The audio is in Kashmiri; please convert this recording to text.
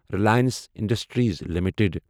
Reliance Industries limited